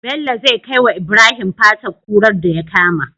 Bello zai kai wa ibrahim fatar kurar daya kama